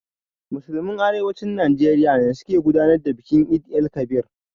Musulman Arewacin Najeriya ne suka gudanar da bikin Eid-el-Kabir.